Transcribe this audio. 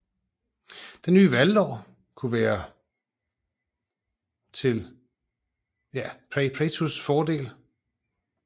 Den ny valglov kunne være til Prayuts fordel